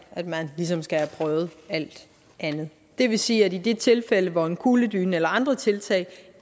at man ligesom skal have prøvet alt andet det vil sige at i de tilfælde hvor en kugledyne eller andre tiltag